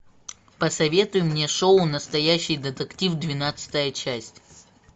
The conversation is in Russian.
посоветуй мне шоу настоящий детектив двенадцатая часть